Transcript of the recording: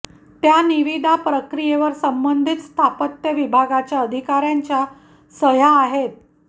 त्या निविदा प्रक्रियेवर संबंधित स्थापत्य विभागाच्या अधिकार्यांच्या सह्या आहेत